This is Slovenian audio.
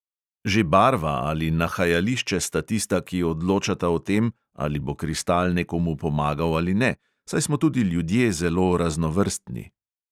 Že barva ali nahajališče sta tista, ki odločata o tem, ali bo kristal nekomu pomagal ali ne, saj smo tudi ljudje zelo raznovrstni.